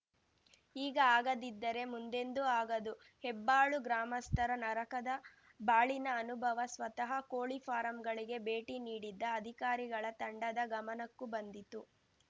ಈಗ ಆಗದಿದ್ದರೆ ಮುಂದೆಂದೂ ಆಗದು ಹೆಬ್ಬಾಳು ಗ್ರಾಮಸ್ಥರ ನರಕದ ಬಾಳಿನ ಅನುಭವ ಸ್ವತಃ ಕೋಳಿ ಫಾರಂಗಳಿಗೆ ಭೇಟಿ ನೀಡಿದ್ದ ಅಧಿಕಾರಿಗಳ ತಂಡದ ಗಮನಕ್ಕೂ ಬಂದಿತು